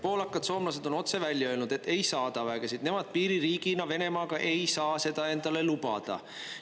Poolakad, soomlased on otse välja öelnud, et ei saada vägesid, nemad piiririigina Venemaaga ei saa seda endale lubada.